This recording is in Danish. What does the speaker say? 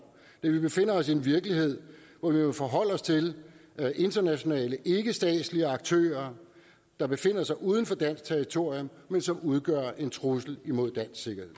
da vi befinder os i en virkelighed hvor vi må forholde os til internationale ikkestatslige aktører der befinder sig uden for dansk territorium men som udgør en trussel imod dansk sikkerhed